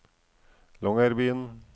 Longyearbyen